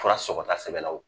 Fura sɔgɔta sɛbɛnla u kun